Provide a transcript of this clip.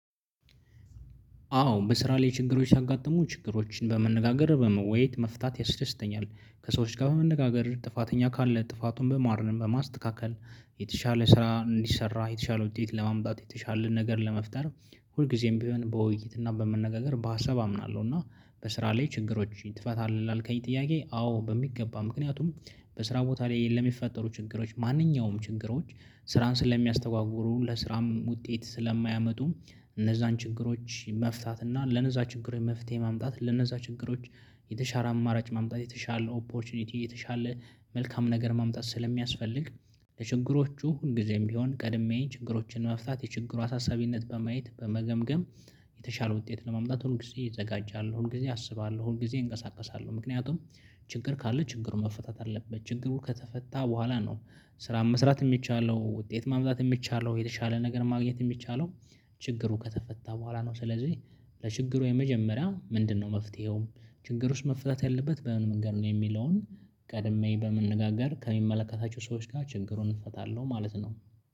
አዎ በስራ ላይ ችግሮች ሲያጋጥሙ ችግሮችን በመነጋገር በመወያየት መፍታት ያስደስተኛል። ከሰዎች ጋር በመነጋገር ጥፋተኛ ካለ ጥፋቱን በማረም በማስተካከል የተሻለ ስራ እንዲሰራ የተሻለ ውጤት ለማምጣት የተሻለ ነገር ለመፍጠር ሁልጊዜም ቢሆን በውይይት እና በመነጋገር በሀሳብ አምናለሁ። እና በስራ ላይ ችግሮች ትፈታለህ? ላልከኝ ጥያቄ አዎ በሚገባ ምክንያቱም። በስራ ቦታ ላይ ለሚፈጠሩ ችግሮች ማንኛውም ችግሮች ስራን ስለሚያስተጓጉሉ ለስራም ውጤት ስለማያመጡ። እነዛን ችግሮች መፍታት እና ለነዛ ችግሮች መፍትሄ ማምጣት ለእነዛ ችግሮች የተሻለ አማራጭ ማምጣት የተሻለ ኦፖርቹኒቲ የተሻለ መልካም ነገር ማምጣት ስለሚያስፈልግ። ለችግሮቹ ሁል ጊዜም ቢሆን ቀድሜ ችግሮችን መፍታት የችግሩ አሳሳቢነት በማየት በመገምገም። የተሻለ ውጤት ለማምጣት ሁል ጊዜ እዘጋጃለሁ ሁል ጊዜ አስባለሁ ሁልጊዜ እንቀሳቀሳለሁ ምክንያቱም። ችግር ካለ ችግሩ መፈታት አለበት ጅግሩ ከተፈታ በኋላ ነው። ስራን መስራት የሚቻለው ውጤት ማምጣት የሚቻለው የተሻለ ነገር ማግኘት የሚቻለው። ችግሩ ከተፈታ በኋላ ነው። ስለዚህ ለችግሩ የመጀመሪያ ምንድነው? መፍትሄው ችግሩስ መፈታት ያለበት በምን መንገድ ነው? የሚለውን ቀድሜ በመነጋገር ከሚመለከታቸው ሰዎች ጋር ችግሩን እፈታለሁ ማለት ነው።